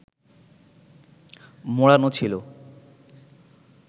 মোড়ানো ছিল